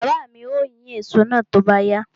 Baba mi ó yín èso náà tó bá yá.